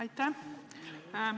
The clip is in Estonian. Aitäh!